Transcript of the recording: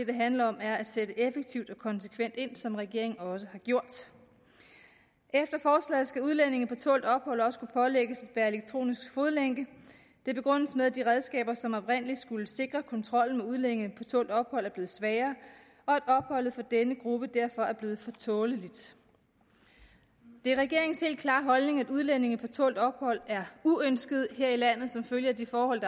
det handler om er at sætte effektivt og konsekvent ind som regeringen også har gjort efter forslaget skal udlændinge på tålt ophold også kunne pålægges at bære elektronisk fodlænke det begrundes med at de redskaber som oprindelig skulle sikre kontrollen med udlændinge på tålt ophold er blevet svagere og at opholdet for denne gruppe derfor er blevet for tåleligt det er regeringens helt klare holdning at udlændinge på tålt ophold er uønskede her i landet som følge af de forhold